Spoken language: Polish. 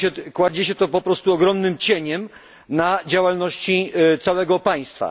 Kładzie się to po prostu ogromnym cieniem na działalności całego państwa.